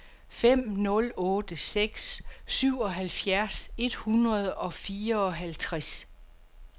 fem nul otte seks syvoghalvtreds et hundrede og fireoghalvfjerds